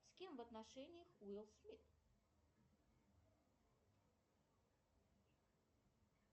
с кем в отношениях уилл смит